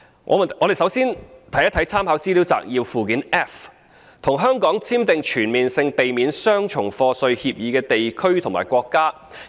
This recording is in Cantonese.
我們首先看一看參考資料摘要的附件 F， 即與香港簽訂全面性避免雙重課稅協定的地區或國家的資料。